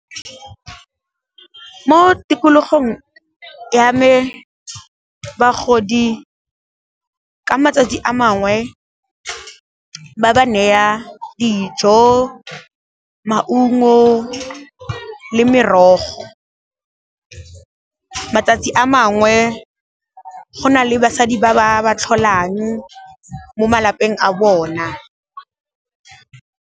Mo tikologong ya me bagodi, ka matsatsi a mangwe ba ba neya dijo, maungo le merogo, matsatsi a mangwe go na le basadi ba ba ba tlholang mo malapeng a bona.